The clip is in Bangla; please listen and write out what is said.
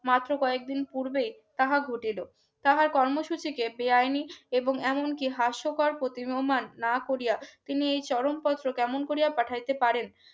মাত্র কয়েকদিন পূর্বেই তাহা ঘটিলো তাহার কর্মসূচিকে বেআইনি এবং এমনকি হাস্যকর প্রতিবোমান না করিয়া তিনি এই চরমপত্র কেমন করিয়া পাঠাইতে পারেন